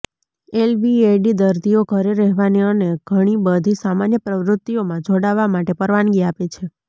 LVAD દર્દીઓ ઘરે રહેવાની અને ઘણી બધી સામાન્ય પ્રવૃત્તિઓમાં જોડાવા માટે પરવાનગી આપે છે